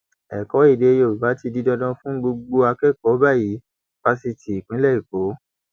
ẹkọ èdè yorùbá ti di dandan fún gbogbo akẹkọọ báyìí fásitì ìpínlẹ èkó